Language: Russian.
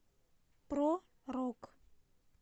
про рок